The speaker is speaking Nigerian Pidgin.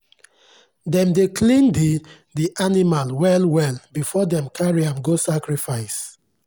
dem dey clean the the animal well well before dem carry am go sacrifice.